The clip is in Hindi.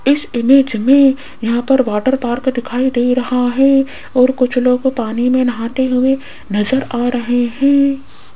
इस इमेज में यहां पर वाटर पार्क दिखाई दे रहा है और कुछ लोगों पानी में नहाते हुए नजर आ रहे हैं।